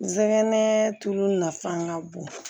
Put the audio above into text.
N sɛgɛn tulu nafa ka bon